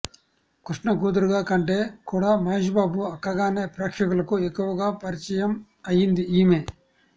కృష్ణ కూతురుగా కంటే కూడా మహేశ్ బాబు అక్కగానే ప్రేక్షకులకు ఎక్కువగా పరిచయం అయింది ఈమె